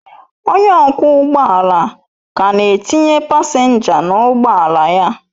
Onye ọkwọ ụgbọ ala ka na-etinye pasenja n'ụgbọ ala ya